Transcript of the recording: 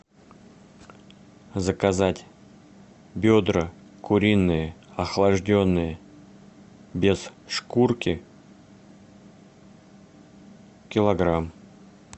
заказать бедра куриные охлажденные без шкурки килограмм